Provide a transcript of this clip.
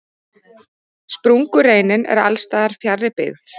Sprungureinin er alls staðar fjarri byggð.